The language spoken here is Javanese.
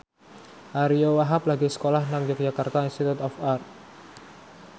Ariyo Wahab lagi sekolah nang Yogyakarta Institute of Art